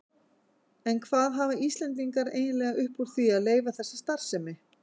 En hvað hafa Íslendingar eiginlega upp úr því að leyfa þessa starfsemi?